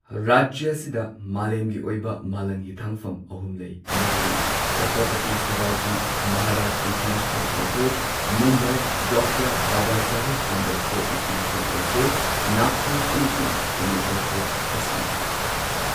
ꯔꯥꯖ꯭ꯌ ꯑꯁꯤꯗ ꯃꯥꯂꯦꯝꯒꯤ ꯑꯣꯏꯕ ꯃꯥꯂꯪ ꯍꯤꯊꯥꯡꯐꯝ ꯑꯍꯨꯝ ꯂꯩ꯫ ꯃꯗꯨꯗꯤ ꯆꯠꯇ꯭ꯔꯄꯇꯤ ꯁꯤꯕꯥꯖꯤ Maharaj international airport, Mumbai, doctor Babasaheb Ambedkar international airport, Nagpur, ꯑꯃꯁꯨꯡ ꯄꯨꯅꯦ ꯑꯦꯌꯔꯄꯣꯔ꯭ꯠ ꯑꯁꯤꯅꯤ꯫